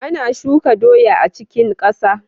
Ana shuka doya a cikin kasa.